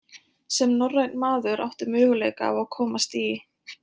Sem norrænn maður áttu möguleika á að komast í